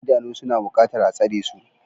Idanu suna buƙatar a tsare su.